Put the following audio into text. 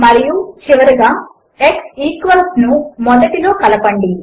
మరియు చివరగా x equals ను మొదటిలో కలపండి